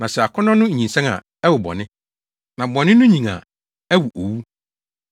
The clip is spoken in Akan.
Na sɛ akɔnnɔ no nyinsɛn a, ɛwo bɔne, na bɔne no nyin a ɛwo owu.